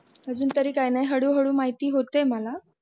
अजून तरी काही नाही हळू हळू माहीत होते मला.